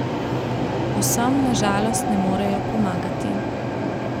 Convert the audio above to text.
Vsem na žalost ne morejo pomagati.